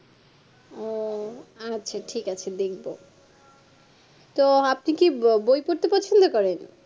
ওহ আচ্ছা ঠিক আছে দেখব তো আপনি কি বই পড়তে পছন্দ করেন